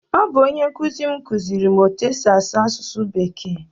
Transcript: Ọ bụ onye nkụzi m kụziere m etu-esi asụ asụsụ bekee.